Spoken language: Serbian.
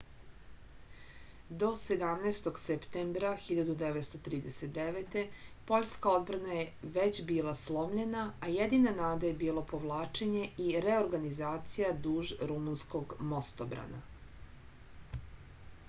do 17. septembra 1939. poljska odbrana je već bila slomljena a jedina nada je bilo povlačenje i reorganizacija duž rumunskog mostobrana